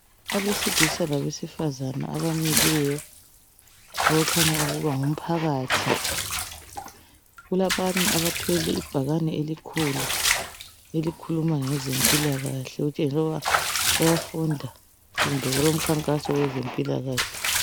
Abesilisa labesifazana abamileyo okukhanya ukuba ngumphakathi. Kulabanye abathwele ibhakane elikhulu elikhuluma ngezempilakahle ukutshengis' ukuba bayafunda kumbe kulomkhankaso wezempilakahle.